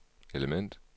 element